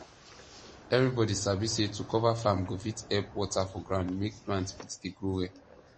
everybody sabi say to cover farm go fit help water for ground make plant fit dey grow well